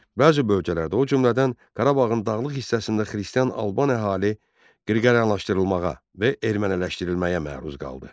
Bəzi bölgələrdə, o cümlədən Qarabağın dağlıq hissəsində xristian Alban əhali qriqoryanlaşdırılmağa və erməniləşdirilməyə məruz qaldı.